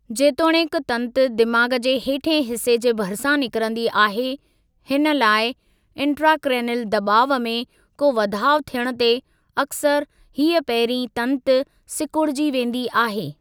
जेतोणीकि तंतु दिमाग़ु जे हेठिएं हिस्से जे भरिसां निकरंदी आहे, हिन लाइ इंट्राक्रैनील दबा॒उ में को वधाउ थियणु ते अक्सर हीअ पहिरीं तंतु सिकुड़जी वेंदी आहे।